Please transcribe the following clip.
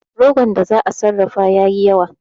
Rogon da za'a sarrafa ya yi yawa